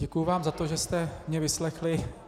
Děkuju vám za to, že jste mě vyslechli.